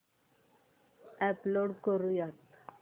upload करुयात